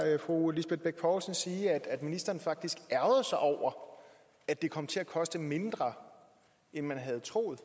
fru lisbeth bech poulsen sige at ministeren faktisk ærgrede sig over at det kom til at koste mindre end man havde troet